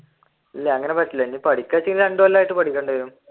ഇല്ല അങ്ങനെ പറ്റൂല ഇനി രണ്ടു കൊല്ലമായിട്ട് പഠിക്കേണ്ടി വരും.